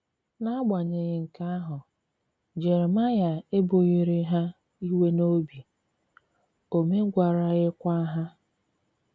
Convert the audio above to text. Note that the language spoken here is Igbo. N’agbanyeghị nke ahụ, Jeremaịa ebughịrị ha iwe n’obi, o megwaraghịkwa ha.